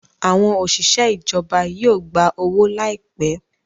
Àwọn òṣìṣẹ́ ìjọba yíò gbá owo láìpé